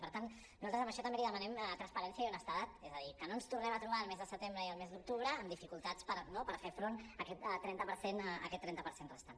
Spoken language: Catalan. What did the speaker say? i per tant nosaltres en això també li demanem transparència i honestedat és a dir que no ens tornem a trobar el mes de setembre i el mes d’octubre amb dificultats no per fer front a aquest trenta per cent restant